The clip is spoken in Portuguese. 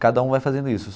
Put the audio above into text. Cada um vai fazendo isso.